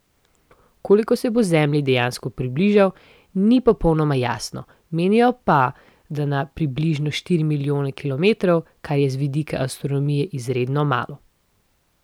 Koliko se bo Zemlji dejansko približal, ni popolnoma jasno, menijo pa, da na približno štiri milijone kilometrov, kar je z vidika astronomije izredno malo.